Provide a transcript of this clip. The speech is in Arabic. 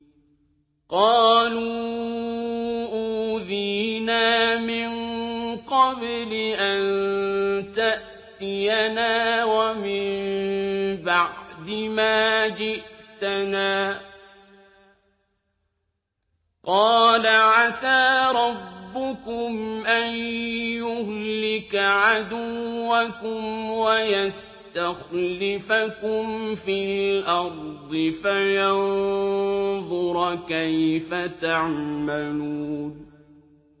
قَالُوا أُوذِينَا مِن قَبْلِ أَن تَأْتِيَنَا وَمِن بَعْدِ مَا جِئْتَنَا ۚ قَالَ عَسَىٰ رَبُّكُمْ أَن يُهْلِكَ عَدُوَّكُمْ وَيَسْتَخْلِفَكُمْ فِي الْأَرْضِ فَيَنظُرَ كَيْفَ تَعْمَلُونَ